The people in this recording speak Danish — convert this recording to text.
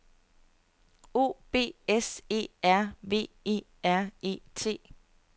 O B S E R V E R E T